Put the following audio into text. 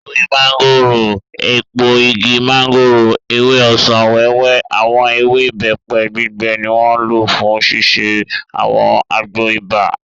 Ewé mọ́ngòrò, èpo igi mọ́ngòrò, ewé ọsàn-wẹ́wẹ́, àwọn ewé ìbẹ́pẹ gbígbẹ ni wọ́n lò fún ṣíṣe àwọn àgbo ibà